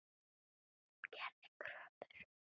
Hún gerði kröfur.